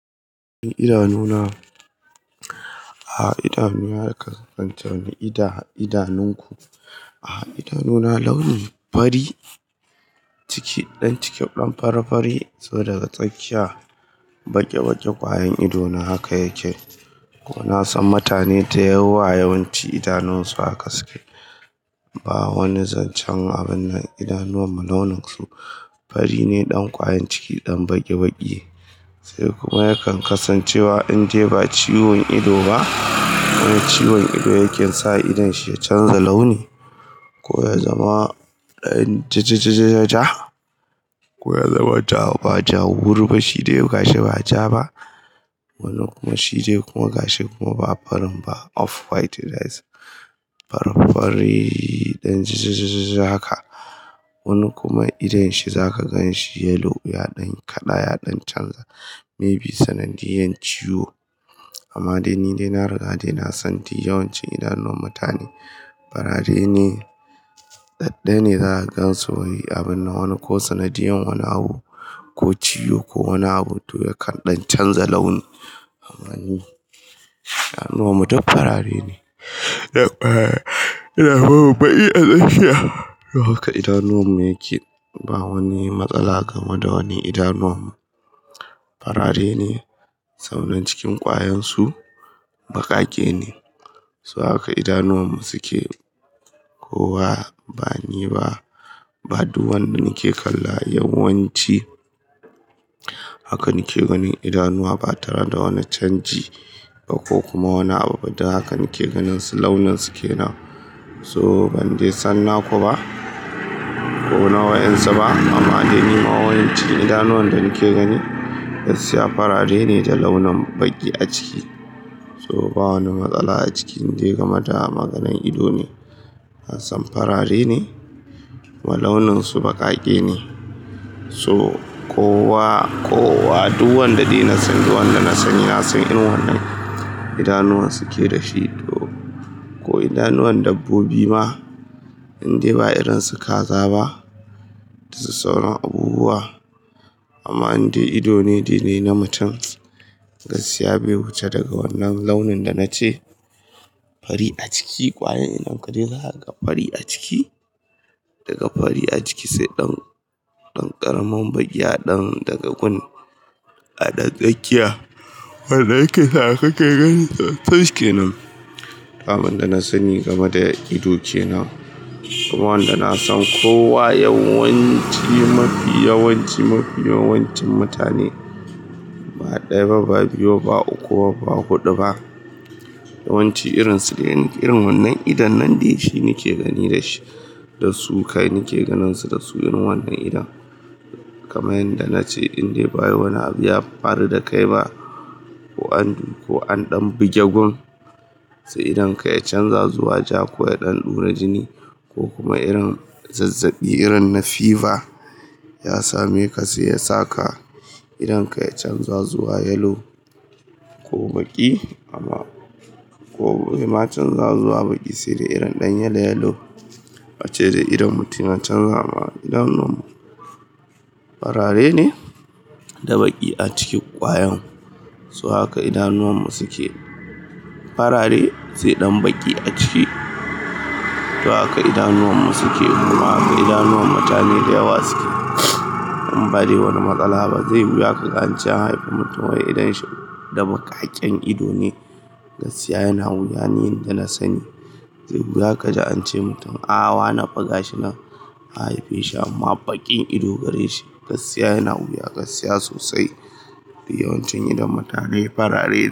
Idanuna, a'a idanuna haka ka tantance idanunku. A'a idanuna launin fari, ciki ɗan ciki ɗan fari fari. Toh daga tsakiya baƙi baƙi kwayan ido na haka yake. Kuma na san mutane da yawa yawanci idanunsu haka su ke. Ba wani zancen abun nan, idanuwan mu launin su fari ne ɗan kwayan ciki ɗan baƙi baƙi. Sai kuma yakan kasancewa in dai ba ciwon ido ba. Wani ciwon ido yake sa idon shi ya canza launi, ko ya zama ɗan jajajaja, ko ya zama ja ba jawur ba shi dai, gashi ba ja ba. Wani kuma shi dai kuma gashi kuma ba farin ba, off white it is. Fari fari ɗan jajajaja haka. Wani kuma idon shi za ka gan shi yellow ya ɗan kaɗaya ɗan canza, maybe sanadiyan ciwo. Amma dai ni dai na riga dai na san dai yawancin idanuwan mutane farare ne, dadaya ne za ka gansu. Abun na wani ko sanadiyan wani abu ko ciwo ko wani abu toh yakan ɗan canza launi. Amma ni idanuwan mu duk farare ne. Na ina bawa baƙi a tsakiya. Don haka idanuwan mu yake. Ba wani matsala game da wani idanuwan mu. Farare ne saboda cikin kwayan su baƙaƙe ne. So haka idanuwan mu suke. Ko wa ba ni ba, ba duk wanda nake kalla yawanci haka nike ganin idanuwa ba tare da wani canji ba ko kuma wani abu ba duk haka nake ganin su launin su kenan. Toh ban dai san naku ba ko na wayan su ba. Amma dai ni ma yawanci idanuwan da nake gani gaskiya farare ne da launin baƙi a ciki. Toh ba wani matsala a ciki in dai game da maganan ido ne. Nasan farare ne ma launin su baƙaƙe ne. Toh kowa, ko wa, duk wanda dai na sani wanda na sani ya san irin wannan idanuwan suke dashi ko idanuwan dabbobi ma in dai ba irin su kaza ba da su sauran abubuwa. Amma in dai ido ne dai na mutum, gaskiya bai wuce daga wannan launin da na ce fari a ciki kwayan idon ka dai zaka ga fari a ciki. Daga fari a ciki sai ɗan, ɗan ƙaramin baƙi ya ɗan daga gun a ɗan tsakiya. Wadda yake sa ka ke ganin ta haske kenan. Abunda na sani game da ido kenan. Kuma wanda na san ko wa yawanci mafi yawanci mafi yawancin mutane ba ɗaya ba, ba biyu ba, ba uku ba, ba huɗu ba. Yawanci irin su dai irin wannan idon nan dai shi nake gani da shi. Da su kai nake ganin su da su irin wannan idon. Kamar yanda na ce in dai ba wai wani abu ya faru da kai ba ko an, ko an ɗan buge gun, sai idon ka ya canza zuwa ja ko ya ɗan ɗure jini ko kuma irin zazzabi irin na fever ya same ka sai ya sa ka idon ka ya canza zuwa yellow ko baƙi amma ko ya ma canza zuwa baƙi sai dai irin ɗan yellow yellow ace dai idon mutum ya canza ba. Idanun mu farare ne da baƙi a cikin kwayan. So haka idanuwan mu suke. Farare sai ɗan baƙi a ciki. Don haka idanuwan mu suke. Don haka idanuwan mutane da yawa suke. In ba dai wani matsala ba. Zaiyi wiya ka ga an ce an haifi mutum wai idon shi da maƙaƙen ido ne. Gaskiya yana wuya ni da na sani. Zaiyi wuya ka ji an ce mutum a wani fa gashi nan an haife shi amma baƙin ido gare shi. Gaskiya yana wuya, gaskiya sosai. Yawancin idon mutane farare ne.